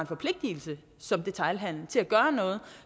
forpligtelse som detailhandel til at gøre noget